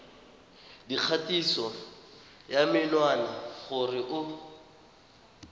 dikgatiso ya menwana gore o